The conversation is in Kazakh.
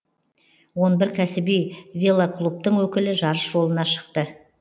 он бір кәсіби велоклубтың өкілі жарыс жолына шықты